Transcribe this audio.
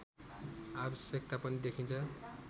आवश्यकता पनि देखिन्छ